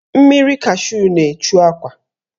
Mmiri kashu na-echu akwa.